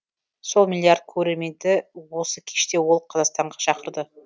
сол миллиард көрерменді осы кеште ол қазақстанға шақырды